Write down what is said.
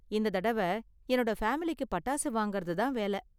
இந்த தடவ என்னோட ஃபேமிலிக்கு பட்டாசு வாங்கறது தான் வேல.